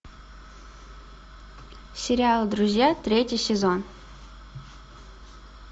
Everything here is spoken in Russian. сериал друзья третий сезон